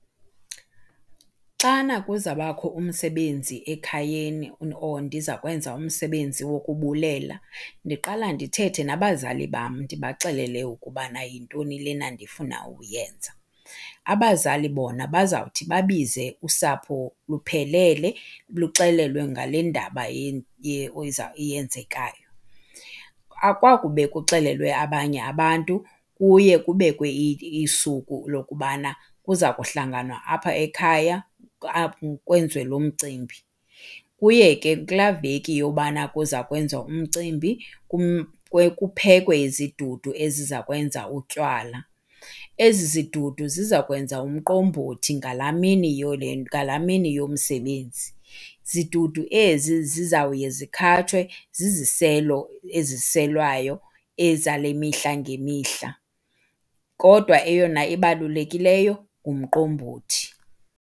Xana kuza bakho umsebenzi ekhayeni or ndiza kwenza umsebenzi wokubulela ndiqala ndithethe nabazali bam ndibaxelele ukubana yintoni lena ndifuna ukuyenza. Abazali bona bazawuthi babize usapho luphelele luxelelwe ngale ndaba yenzekayo. Akwakube kuxelelwe abanye abantu kuye kubekwe isuku lokubana kuza kuhlanganwa apha ekhaya kwenziwe lo mcimbi. Kuye ke kulaa veki yobana kuza kwenziwa umcimbi kuphekwe izidudu eziza kwenza utywala. Ezi zidudu ziza kwenza umqombothi ngalaa mini , ngalaa mini yomsebenzi. Zidudu ezi zizawuye zikhatshwe ziziselo eziselwayo ezale mihla ngemihla, kodwa eyona ibalulekileyo ngumqombothi.